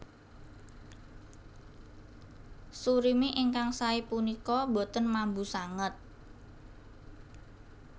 Surimi ingkang saé punika boten mambu sanget